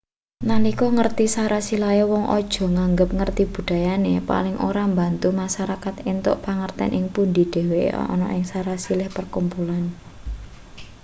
nalika ngerti sarasilahe wong aja nganggep ngerti budayane paling ora mbantu masarakat entuk pangerten ing pundi dheweke ana ing sarasilah pakumpulan